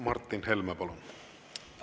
Martin Helme, palun!